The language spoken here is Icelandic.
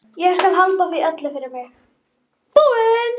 Eins og viss um að hún slái til.